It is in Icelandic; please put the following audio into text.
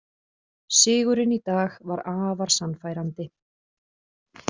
Sigurinn í dag var afar sannfærandi